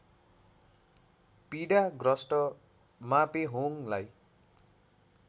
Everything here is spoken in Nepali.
पीडा ग्रस्त मापेहोङलाई